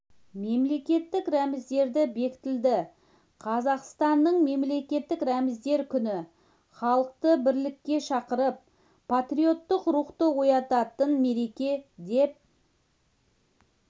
мемлекеттік рәміздері бекітілді қазақстанның мемлекеттік рәміздер күні халықты бірлікке шақырып патриоттық рухты оятатын мереке деп